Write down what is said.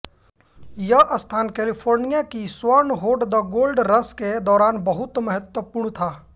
यह स्थान कैलिफ़ोर्निया की स्वर्ण होड़ द गोल्ड रश के दौरान बहुत महत्वपूर्ण था